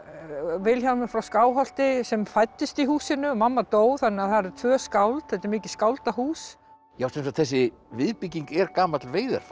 Vilhjálmur frá sem fæddist í húsinu og mamma dó þannig að það eru tvö skáld þetta er mikið skáldahús sem sagt þessi viðbygging er gamall